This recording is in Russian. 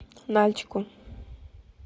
нальчику